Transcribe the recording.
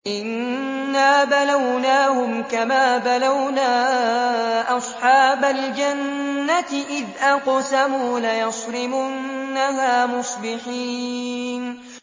إِنَّا بَلَوْنَاهُمْ كَمَا بَلَوْنَا أَصْحَابَ الْجَنَّةِ إِذْ أَقْسَمُوا لَيَصْرِمُنَّهَا مُصْبِحِينَ